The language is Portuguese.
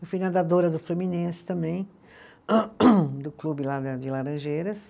Eu fui nadadora do Fluminense também, do clube lá da, de Laranjeiras.